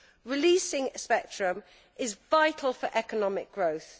Releasing spectrum is vital for economic growth.